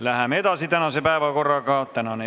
Läheme tänase päevakorraga edasi.